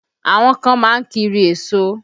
Àwọn kan má ń kiri èso